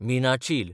मिनाचील